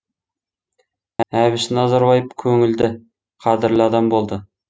әбіш назарбаев көңілді қадірлі адам болды